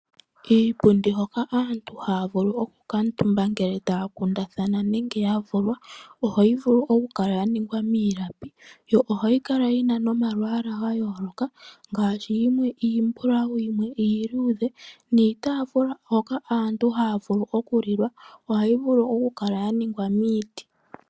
Iipundi hoka aantu haya vulu okukaatumba ngele taya kundathana nenge ya vulwa, ohayi vulu okukala ya ningwa miilapi. Yo ohayi kala yi na nomalwaala ga yooloka ngaashi yimwe iimbulawu, yimwe iiluudhe. Niitafula hoka aantu haya vulu okulila ohayi vulu okukala ya ningwa miiti.